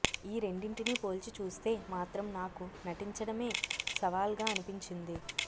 ఈ రెండింటిని పోల్చి చూస్తే మాత్రం నాకు నటించడమే సవాల్గా అనిపించింది